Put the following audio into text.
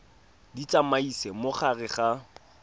di tsamaisa mo gare ga